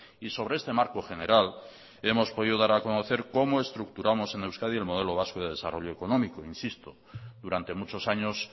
y sobre este marco general hemos podido dar a conocer cómo estructuramos en euskadi el modelo vasco de desarrollo económico insisto durante muchos años